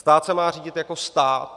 Stát se má řídit jako stát.